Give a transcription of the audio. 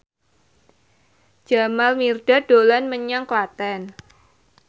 Jamal Mirdad dolan menyang Klaten